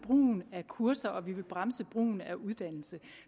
brugen af kurser og at vi vil bremse brugen af uddannelse